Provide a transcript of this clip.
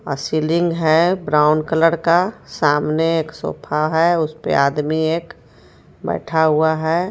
अ-सीलिंग है brown colour का सामने एक सोफा है उसपे आदमी एक बैठा हुआ है.